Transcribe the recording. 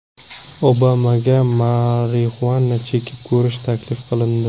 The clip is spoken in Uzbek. Obamaga marixuana chekib ko‘rish taklif qilindi .